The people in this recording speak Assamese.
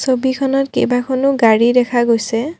ছবিখনত কেইবাখনো গাড়ী দেখা গৈছে।